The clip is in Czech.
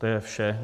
To je vše.